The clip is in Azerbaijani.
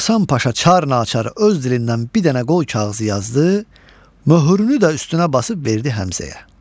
Hasan Paşa çar naçar öz dilindən bir dənə qol kağızı yazdı, möhrünü də üstünə basıb verdi Həmzəyə.